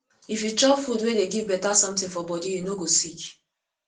if you chop food wey dey give beta something for body you no go sick